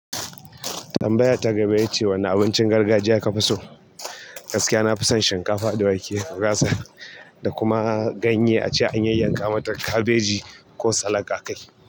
Tambaya ta gaba ya ce wane abincin gargajiya ka fi so? Gaskiya na fison shinkafa da wake, gurasa da kuma ganye ace an yay yanka mata kabeji ko salak akai.